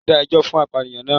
Wón dá ẹjọ́ fún apànìyàn naa